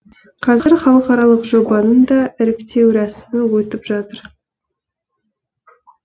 қазір халықаралық жобаның да іріктеу рәсімі өтіп жатыр